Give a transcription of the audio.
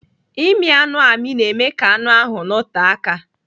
Ịmị anụ amị na-eme ka anụ ahụ nọte aka